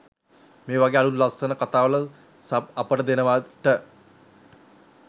මේ වගේ අළුත් ලස්සන කතාවල සබ් අපට දෙනවට